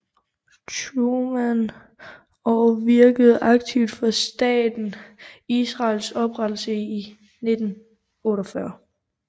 Truman og virkede aktivt for staten Israels oprettelse i 1948